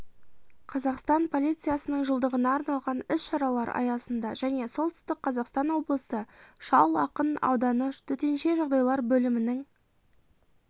қазақстан полициясының жылдығына арналған іс-шаралар аясында және солтүстік қазақстан облысы шал ақын ауданы төтенше жағдайлар бөлімінің